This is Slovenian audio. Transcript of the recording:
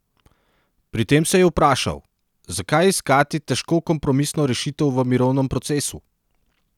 Pri tem se je vprašal: "Zakaj iskati težko kompromisno rešitev v mirovnem procesu?